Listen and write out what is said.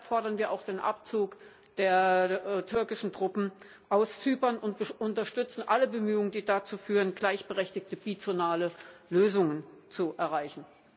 Deshalb fordern wir auch den Abzug der türkischen Truppen aus Zypern und unterstützen alle Bemühungen, die dazu führen, gleichberechtigte, bizonale Lösungen zu erreichen.